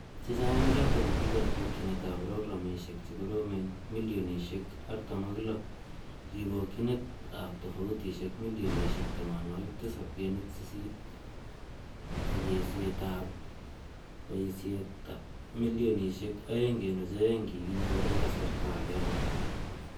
Chechaang' eng' chootok ki kabokyinet ap programisiek chekoroomen milionisiek 46, kibokyinet ap tofutisiek milionisiek 7.8 ak eesiet ap paisiet milionisiek 2.2 ko kikinyoor eng' kasarta agenge.